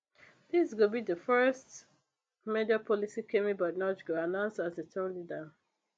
dis go be di first major policy kemi badenoch go announce as tory leader